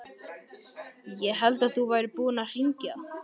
Ég hélt að þú værir búinn að hringja.